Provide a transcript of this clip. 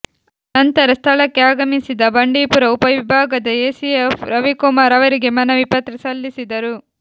ನಂತರ ಸ್ಥಳಕ್ಕೆ ಆಗಮಿಸಿದ ಬಂಡೀಪುರ ಉಪ ವಿಭಾಗದ ಎಸಿಎಫ್ ರವಿಕುಮಾರ್ ಅವರಿಗೆ ಮನವಿ ಪತ್ರ ಸಲ್ಲಿಸಿದರು